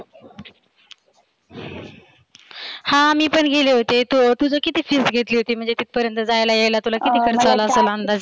हा मी पण गेली होते. तुझी किती fees घेतली होती? म्हणजे तिथपर्यंत जायला यायला. तुला किती खर्च आला अंदाजे